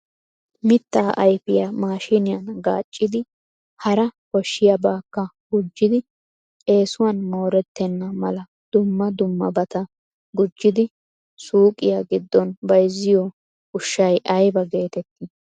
Mittaa ayfiya maashiniyan gaaccidi hara koshshiyaabakka gujji eessuwan mooretena mala dumma dummabata gujjidi suuqiya giddon bayzziyo ushsha aybbe getetti ?